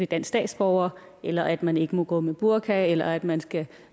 dansk statsborger eller at man ikke må gå med burka eller at man skal